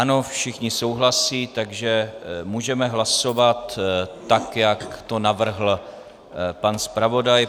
Ano, všichni souhlasí, takže můžeme hlasovat tak, jak to navrhl pan zpravodaj.